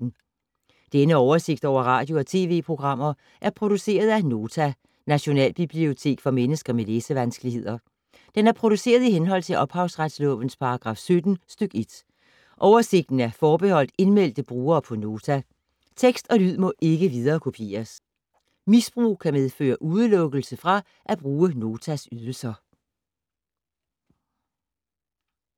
Denne oversigt over radio og TV-programmer er produceret af Nota, Nationalbibliotek for mennesker med læsevanskeligheder. Den er produceret i henhold til ophavsretslovens paragraf 17 stk. 1. Oversigten er forbeholdt indmeldte brugere på Nota. Tekst og lyd må ikke viderekopieres. Misbrug kan medføre udelukkelse fra at bruge Notas ydelser.